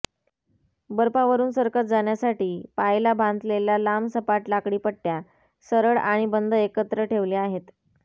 बर्फावरुन सरकत जाण्यासाठी पाायला बांथलेल्या लांब सपाट लाकडी पटटया सरळ आणि बंद एकत्र ठेवले आहेत